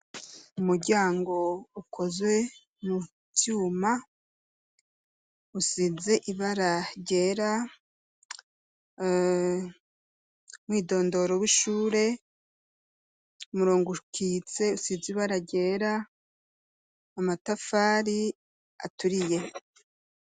Umuryango ukozwe mu vyuma usize ibara ryera, umwidondoro w'ishure, umurongo ukitse usize ibara ryera, amatafari aturiye.